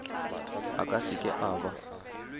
a ka seke a ba